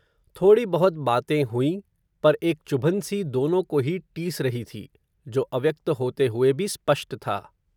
थोडी बहुत बातें हुयीं, पर एक चुभन सी, दोनों को ही, टीस रही थी, जो, अव्यक्त होते हुए भी, स्पष्ट था